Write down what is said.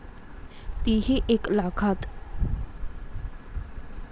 ती ही एक लाखात.